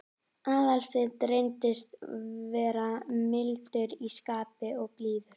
Aðalsteinn reyndist vera mildur í skapi og blíður.